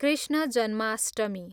Krishna Janmashtami